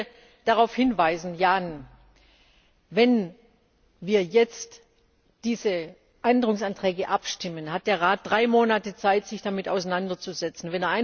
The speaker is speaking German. Ich möchte darauf hinweisen, Jan, wenn wir jetzt über diese Änderungsanträge abstimmen, hat der Rat drei Monate Zeit, sich damit auseinanderzusetzen.